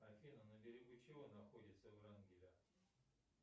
афина на берегу чего находится врангеля